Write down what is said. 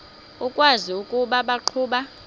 ukwazi ukuba baqhuba